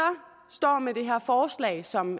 står med det her forslag som